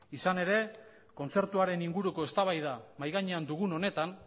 izan ere kontzertuaren inguruko eztabaida mahai gainean dugun honetan